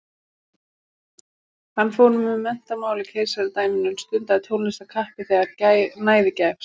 Hann fór með menntamál í keisaradæminu en stundaði tónlist af kappi þegar næði gafst.